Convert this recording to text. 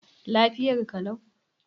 Lafiyar ka lau?